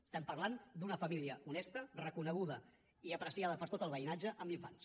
estem parlant d’una família honesta reconeguda i apreciada per tot el veïnatge amb infants